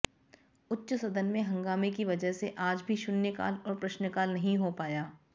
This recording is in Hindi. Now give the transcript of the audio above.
उच्च सदन में हंगामे की वजह से आज भी शून्यकाल और प्रश्नकाल नहीं हो पाया